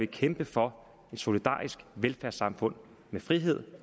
kæmpe for et solidarisk velfærdssamfund med frihed